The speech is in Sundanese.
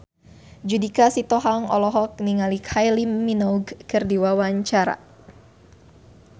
Judika Sitohang olohok ningali Kylie Minogue keur diwawancara